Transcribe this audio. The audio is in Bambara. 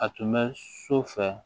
A tun bɛ so fɛ